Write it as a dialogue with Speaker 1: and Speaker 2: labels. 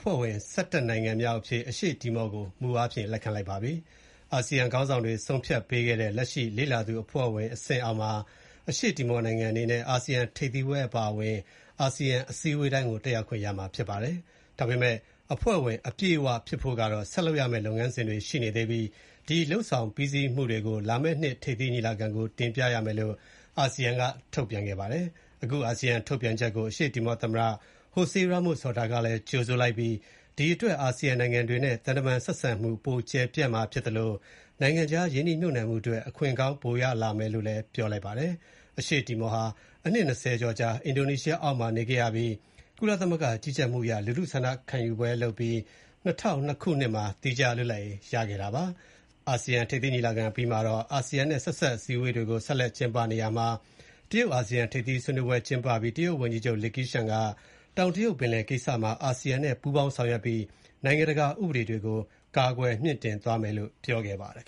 Speaker 1: ဖွဲ့ဝင် ၁၁ နိုင်ငံမြောက်အဖြစ် အရှေ့တီမောကို မူအားဖြင့် လက်ခံဖို့ အာဆီယံခေါင်းဆောင်တွေ ဆုံးဖြတ်ခဲ့ကြပါတယ်။ ယာယီအားဖြင့် အာဆီယံအဆင့်မြင့်အစည်းအဝေးတိုင်းမှာ အရှေ့တီမောဟာ လေ့လာသူအဖြစ် တက်ရောက်ခွင့်ရပါမယ်။ အဖွဲ့ဝင်အပြည့်အဝ ဖြစ်ဖို့ကတော့ လုပ်ငန်းစဉ်တွေဆောင်ရွက်ဖို့ရှိပြီး ဒီလုပ်ငန်းစဉ်ကို လာမယ့်နှစ် ထိပ်သီးညီလာခံကို တင်ပြရမယ်လို့ အာဆီယံက ထုတ်ပြန်ပါတယ်။ ဒီဆုံးဖြတ်ချက်ကို အရှေ့တီမော သမ္မတ Jose Ramos-Horta က ကြိုဆိုပြီး ဒီအတွက် အာဆီယံနိုင်ငံတွေနဲ့ သံတမန်ရေးဆက်ဆံမှု ပိုကျယ်ပြန့်လာမှာဖြစ်သလို နိုင်ငံခြား ရင်းနှီးမြှုပ်နှံမှုအတွက် အခွင့်ကောင်း ပိုရလာမယ်လို့ ပြောပါတယ်။ အရှေ့တီမောဟာ အနှစ်၂၀ ကျော်ကြာ အင်ဒိုနီရှားနိုင်ငံအောက်မှာနေခဲ့ရပြီး ကုလသမဂ္ဂကြီးကြပ်မှုအရ လူထုဆန္ဒခံယူပြီး ၂၀၀၂ ခုနှစ်မှာ သီးခြား လွတ်လပ်ရေး ရခဲ့တာပါ။ ဒီကနေ့ အာဆီယံထိပ်သီး ညီလာခံအပြီးမှာတော့ အာဆီယံနဲ့ ဆက်စပ်အစည်အဝေးတွေ ဆက်လက်ကျင်းပပါတယ်။ တရုတ်-အာဆီယံထိပ်သီး ဆွေးနွေးပွဲ ကျင်းပပြီး တရုတ်ဝန်ကြီးချုပ် Li Kequiang က တောင်တရုတ်ပင်လယ်ကိစ္စမှာ အာဆီယံနဲ့ ပူးပေါင်းဆောင်ရွက်ပြီး နိုင်ငံတကာဥပဒေတွေကို ကာကွယ်မြှင့်တင်သွားမယ်လို့ ပြောခဲ့ပါတယ်